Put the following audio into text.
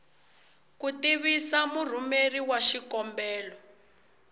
ku tivisa murhumeri wa xikombelo